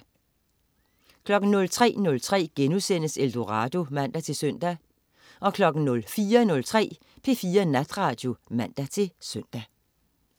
03.03 Eldorado* (man-søn) 04.03 P4 Natradio (man-søn)